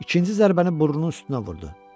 İkinci zərbəni burnunun üstünə vurdu.